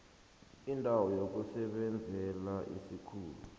indawo yokusebenzela isikhulu